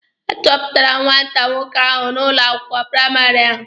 A chụpụrụ nwata nwoke ahụ n'ụlọ akwụkwọ praịmarị ahụ.